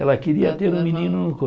Ela queria ter um menino no